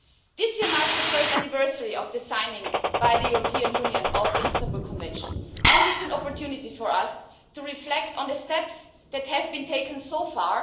This year marks the first anniversary of the signing by the European Union of the Istanbul Convention, and it is an opportunity for us to reflect on the steps that have been taken so far.